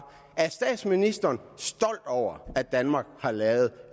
er statsministeren stolt over at danmark har lavet